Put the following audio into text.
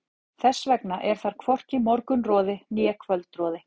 Þess vegna er þar hvorki morgunroði né kvöldroði.